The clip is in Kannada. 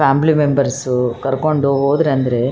ನಾನು ನೋಡಿದ ಫೋಟೋ ಪ್ರಕಾರ ಈ ಫೋಟೋದಲ್ಲಿ ಇದೊಂದು ಚಾಟ್ ಸೆಂಟರ್ ಅಂತ ಹೇಳಬಹುದು.